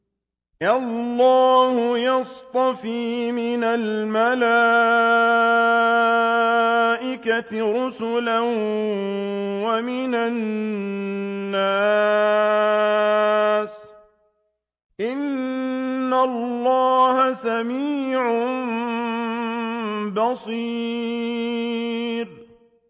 اللَّهُ يَصْطَفِي مِنَ الْمَلَائِكَةِ رُسُلًا وَمِنَ النَّاسِ ۚ إِنَّ اللَّهَ سَمِيعٌ بَصِيرٌ